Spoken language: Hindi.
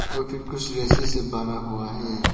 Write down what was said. ए कुछ रस्सी से बंधा हुआ है।